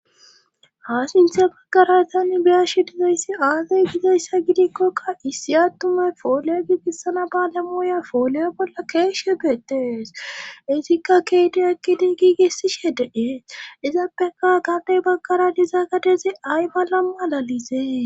ha sinthe baggarasanni biyashi dizayssi aazay gizayssa gidikkokka issi attuma fooley giigissana baale muya fooley bolla keeshe beetes izikka keede ekki dii giigissi shedee izaappeka gabey baggara dizaagadezi ay malam alalizee